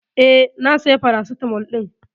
Eh, na saya paracetamol ɗin.